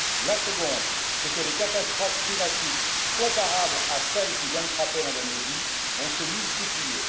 La seconde, c'est que les catastrophes climatiques comparables à celle qui vient de frapper l'Indonésie vont se multiplier.